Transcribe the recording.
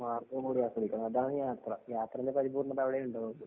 മാര്‍ഗം കൂടി അറിഞ്ഞിരിക്കണം. അതാണ്‌ യാത്ര. യാത്രയിലെ പരിപൂര്‍ണ്ണത അവിടയെ ഉണ്ടാവുകയുള്ളൂ.